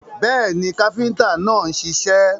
Bẹ́ẹ̀ni, káfíntà náà ń ṣiṣẹ́.